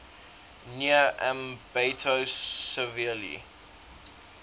near ambato severely